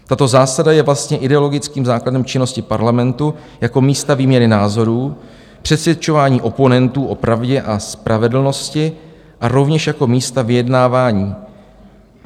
Tato zásada je vlastně ideologickým základem činnosti parlamentu jako místa výměny názorů, přesvědčování oponentů o pravdě a spravedlnosti a rovněž jako místa vyjednávání.